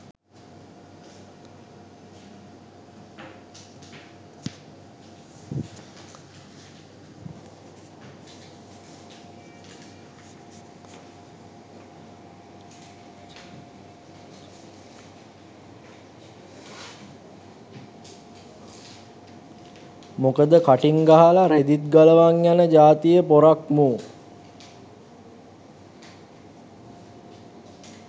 මොකද කටින් ගහල රෙදිත් ගලවන් යන ජාතියෙ පොරක් මූ